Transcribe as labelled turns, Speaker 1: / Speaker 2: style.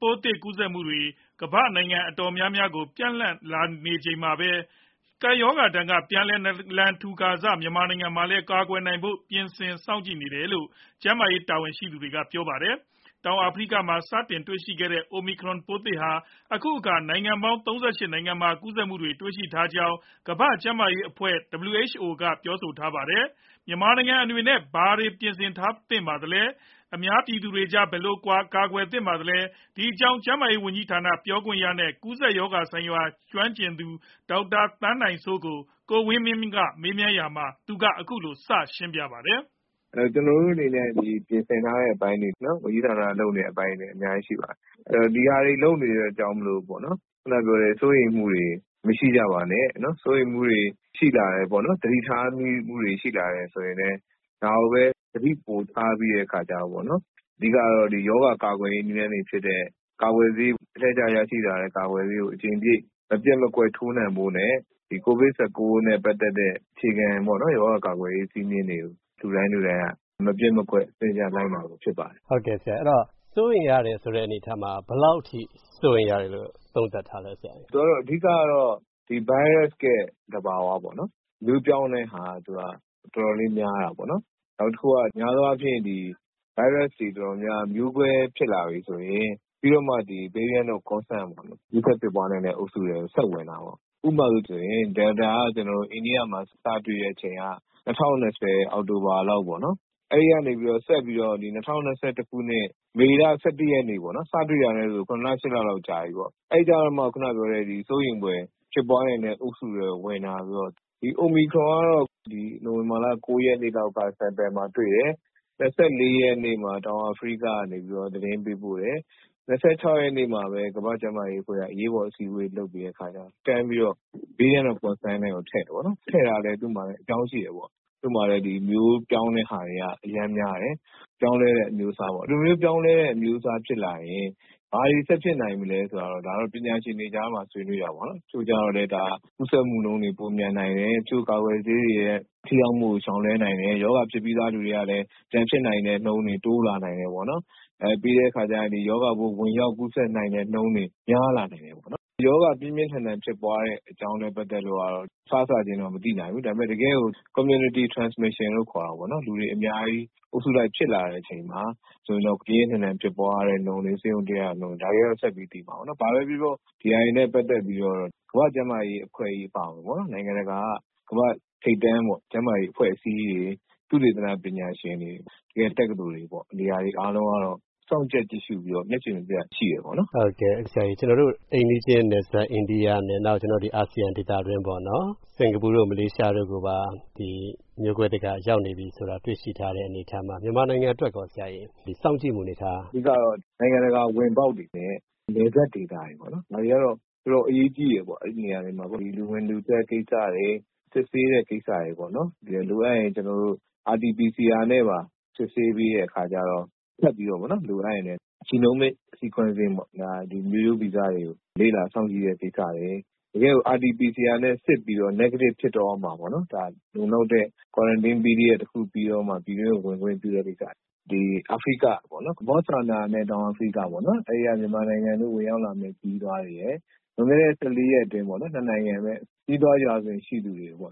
Speaker 1: ပိုးသစ် ကူးစက်မှုတွေ ကမ္ဘာ့နိုင်ငံ တော်တော်များများကို ပျံ့နှံ့လာနေချိန်မှာပဲ ကပ်ရောဂါဒဏ်က ပြန်လည်နာလန်ထူကာစ မြန်မာနိုင်ငံမှာလည်း ကာကွယ်နိုင်ဖို့ ပြင်ဆင်စောင့်ကြည့်နေတယ်လို့ ကျန်းမာရေး တာဝန်ရှိသူတွေက ပြောပါတယ်။ တောင်အာဖရိကမှာ စတင်တွေ့ရှိခဲ့တဲ့ Omicron ပိုးသစ်ဟာ အခုအခါ နိုင်ငံပေါင်း ၃၈ နိုင်ငံမှာ ကူးစက်မှုတွေ တွေ့ရှိထားကြောင်း ကမ္ဘာ့ကျန်းမာရေးအဖွဲ့ ကလည်း ပြောဆိုထားတာပါ။ မြန်မာနိုင်ငံအနေနဲ့ ဘာတွေ ပြင်ဆင်ထားပါသလဲ၊ အများပြည်သူတွေကြား ဘယ်လိုကာကွယ်သင့်ပါသလဲ၊ ဒီအကြောင်း ကျန်းမာရေးဝန်ကြီးဌာန ပြောခွင့်ရနဲ့ ကူးစက်ရောဂါဆိုင်ရာ ကျွမ်းကျင်သူ ဒေါက်တာ သန်းနိုင်စိုးကို ကိုဝင်းမင်းက မေးရာမှာ အခုလို စရှင်းပြပါတယ်။
Speaker 2: “ကျနော်တို့အနေနဲ့ ပြင်ဆင်ထားတဲ့ အပိုင်းတွေ၊ ဝန်ကြီးဌာန အနေနဲ့ လုပ်နေတဲ့အပိုင်းတွေ အများကြီး ရှိပါတယ်။ ဒီဟာတွေ လုပ်နေတဲ့အတွက် စိုးရိမ်မှုတွေ မရှိကြပါနဲ့။ စိုးရိမ်မှုတွေ ရှိလာတယ်၊ သတိထားမှုတွေ ရှိလာတယ်ဆိုရင်လည်း ဒါကိုပဲ သတိပိုထားပြီး အဓိကတော့ ရောဂါကာကွယ်ရေး နည်းလမ်းတွေဖြစ်တဲ့ အလှည့်ကျရရှိလာတဲ့ ကာကွယ်ဆေးကို အကြိမ်ပြည့် မပျက်မကွက် ထိုးနှံဖို့နဲ့ ကိုဗစ် ၁၉ နဲ့ပတ်သက်တဲ့ အခြေခံ ရောဂါကာကွယ်ရေး စည်းမျဉ်းတွေကို လူတိုင်းလူတိုင်း မပျက်မကွက် စနစ်တကျ လိုက်နာကြဖို့ ဖြစ်ပါတယ်။”
Speaker 3: စိုးရိမ်ရတယ်ဆိုတဲ့ အနေအထားမှာ ဘယ်လောက်အထိ စိုးရိမ်ရတယ်လို့ သုံးသပ်ထားလဲ။
Speaker 2: “အဓိကတော့ ဒီဗိုင်းရပ်စ်ရဲ့ သဘာဝပေါ့၊ မျိုးပြောင်းတဲ့ဟာ သူက တော်တော်လေး များတာပေါ့။ နောက်တခုက များသောအားဖြင့် ဗိုင်းရပ်စ်တွေ တော်တော်များများက မျိုးကွဲဖြစ်လာပြီဆိုရင် ပြီးတော့မှ Variant of Concern ကူးစက်ဖြစ်ပွားနိုင်တဲ့ အုပ်စုထဲကို ဆက်ဝင်တာပေါ့။ ဥပမာဆိုရင် Delta က အိန္ဒိယမှာ စတွေ့တဲ့အချိန်က ၂၀၂၀ အောက်တိုဘာလောက်ပေါ့၊ အဲဒီကနေ ဆက်ပြီးတော့ ၂၀၂၁ ခုနှစ် မေလ ၁၁ ရက်နေ့၊ စတွေ့တာနဲ့ဆို ၇ လ၊ ၈ လလောက် ကြာပြီပေါ့၊ အဲဒီကျတော့မှ စိုးရိမ်ဖွယ် ဖြစ်ပွားနိုင်တဲ့ အုပ်စုထဲကို ဝင်တာဆိုတော့၊ Omicron ကတော့ နိုဝင်ဘာ ၉ ရက်နေ့လောက်က Sample မှာတွေ့တယ်။ ၂၄ ရက်နေ့မှာ တောင်အာဖရိကက သတင်းပေးပို့တယ်။ ၂၆ ရက်နေ့မှာပဲ ကမ္ဘာ့ကျန်းမာရေးအဖွဲ့က အရေးပေါ်အစည်းအဝေး လုပ်ပြီးတဲ့အခါကြတော့ တန်းပြီးတော့ Variant of Concern ထဲကို ထည့်တယ်။ ထည့်တာလည်း သူ့မှာ အကြောင်းရှိတယ်။ သူ့မှာလည်း မျိုးပြောင်းတဲ့ဟာတွေက အရမ်းများတယ်၊ ပြောင်းလဲတဲ့ အမျိုးအစားပေါ့။ ဒီလိုမျိုး ပြောင်းလဲတဲ့ အမျိုးအစား ဖြစ်လာရင် ဘာတွေ ဆက်ဖြစ်နိုင်မလဲဆိုတာ ဒါတော့ ပညာရှင်တွေကြားမှာ ဆွေးနွေးတာပေါ့။ တချို့ကျတော့လည်း ဒါ ကူးစက်မှုနှုန်းတွေ ပိုမြန်နိုင်တယ်၊ တချို့ကာကွယ်ဆေးတွေရဲ့ ထိရောက်မှုကို ရှောင်လွှဲနိုင်တယ်၊ ရောဂါဖြစ်ပြီးသား လူတွေကလည်း ပြန်ဖြစ်နိုင်တဲ့နှုန်းတွေ တိုးလာနိုင်တယ်ပေါ့။ ပြီးတဲ့အခါကျရင် ရောဂါပိုး ဝင်ရောက်ကူးစက်နိုင်တဲ့နှုန်းတွေ များလာနိုင်တယ်ပေါ့။ “ရောဂါ ပြင်းပြင်းထန်ထန် ဖြစ်ပွားတဲ့ အကြောင်းနဲ့ ပတ်သက်လို့ကတော့ စစချင်းတော့ မသိနိုင်ဘူး။ တကယ့်ကို Community Transmission လို့ခေါ်တာပေါ့၊ လူတွေအများကြီး အုပ်စုလိုက်ဖြစ်လာတဲ့ အချိန်မှာ ပြင်းပြင်းထန်ထန် ဖြစ်ပွားတဲ့နှုန်းတွေ၊ ဆေးရုံတက်ရတဲ့နှုန်းတွေ၊ ဒါတွေကတော့ ဆက်ပြီးသိမှာပေါ့။ ဘာပဲပြောပြော ဒီဟာတွေနဲ့ ပတ်သက်ပြီး ကမ္ဘာ့ကျန်းမာရေးအဖွဲ့ကြီး အပါအဝင် နိုင်ငံတကာက ကမ္ဘာ့ထိပ်တန်း ကျန်းမာရေး အဖွဲ့အစည်းတွေ၊ သုတေသန ပညာရှင်တွေ၊ တက္ကသိုလ်တွေပေါ့ နေရာတွေ အားလုံးကတော့ စောင့်ကြပ်ကြည့်ရှုပြီး မျက်ခြည်မပြတ် ရှိတယ်။”
Speaker 3: ကျနော်တို့ အိမ်နီးချင်း နယ်စပ် အိန္ဒိယနဲ့ အာဆီယံဒေသတွင်း စင်ကာပူတို့ မလေးရှားတို့ကိုပါ မျိုးကွဲသစ်က ရောက်နေပြီဆိုတာ တွေ့ရှိထားတဲ့ အနေအထားမှာ မြန်မာနိုင်ငံအတွက်ရော စောင့်ကြည့်မှု အနေအထားက။
Speaker 2: “အဓိကတော့ နိုင်ငံတကာ ဝင်ပေါက်တွေနဲ့ နယ်စပ်ဒေသတွေပေါ့၊ ဒါတွေကတော့ တော်တော် အရေးကြီးတယ်။ အဲဒီနေရာတွေမှာ လူဝင်လူထွက် ကိစ္စတွေ၊ စစ်ဆေးတဲ့ ကိစ္စတွေ၊ လိုအပ်ရင် RT PCR နဲ့ပါ စစ်ဆေးပေးတဲ့ အခါကြတော့ ထပ်ပြီးတော့ လိုအပ်ရင်လည်း Genomic Sequencing ပေါ့၊ မျိုးရိုးဗီဇတွေကို လေ့လာစောင့်ကြည့်တဲ့ ကိစ္စတွေ၊ တကယ့်ကို RT PCR နဲ့စစ်ပြီးတော့ Negative ဖြစ်တော့မှ လုံလောက်တဲ့ Quarantine Period တခု ပြီးတော့မှ ပြည်တွင်းကို ဝင်ခွင့်ပြုတဲ့ ကိစ္စတွေ၊ ဒီ အာဖရိက ဘော့ဆွာနာနဲ့ တောင်အာဖရိကပေါ့ အဲဒီက မြန်မာနိုင်ငံတွင်း ဝင်ရောက်လာမယ့် ခရီးသွားတွေရယ်၊ လွန်ခဲ့တဲ့ ၁၄ ရက်အတွင်း အဲဒီ ၂ နိုင်ငံကို ခရီးသွားရာဇဝင် ရှိတဲ့သူတွေကို